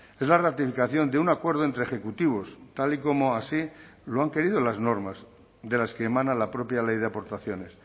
es la ratificación de un acuerdo entre ejecutivos tal y como así lo han querido las normas de las que emana la propia ley de aportaciones